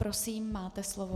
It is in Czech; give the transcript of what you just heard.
Prosím, máte slovo.